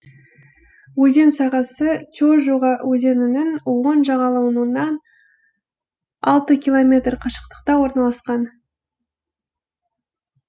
өзен сағасы чожуга өзенінің оң жағалауынан алты километр қашықтықта орналасқан